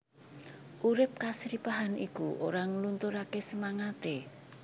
Urip kasripahan iku ora nglunturaké semangaté